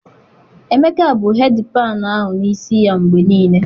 Emeka bu hedịpanụ ahụ n' isi ya mgbe niile